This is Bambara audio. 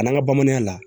A n'an ka bamananya la